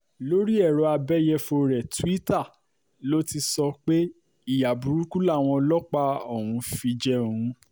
lórí èrò abẹ́yẹ̀fọ́ rẹ̀ tuita ló ti sọ pé ìyà burúkú làwọn ọlọ́pàá ọ̀hún fi jẹ òun